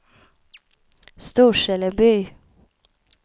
Storseleby